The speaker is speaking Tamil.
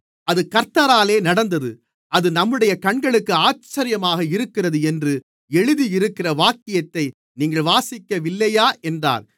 அது கர்த்தராலே நடந்தது அது நம்முடைய கண்களுக்கு ஆச்சரியமாக இருக்கிறது என்று எழுதியிருக்கிற வாக்கியத்தை நீங்கள் வாசிக்கவில்லையா என்றார்